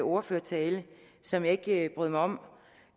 ordførertale som jeg ikke brød mig om